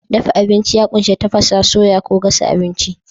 Dafa abinci ya ƙunshi tafasa, soya ko gasa abinci.